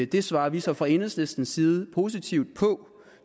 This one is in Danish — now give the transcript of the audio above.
det svarer vi så fra enhedslistens side positivt på